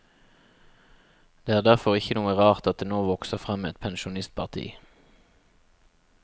Det er derfor ikke noe rart at det nå vokser frem et pensjonistparti.